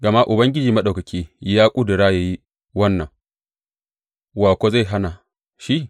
Gama Ubangiji Maɗaukaki ya ƙudura ya yi wannan, wa kuwa zai hana shi?